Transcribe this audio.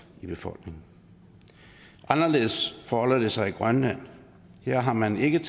i befolkningen anderledes forholder det sig i grønland her har man ikke